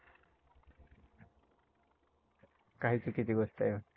काय चुकीची गोष्टआहे?